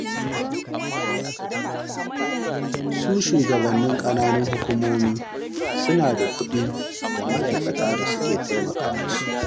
Su shugabannin ƙananan hukumomi suna da kuɗi da ma'aikata da suke taimaka musu.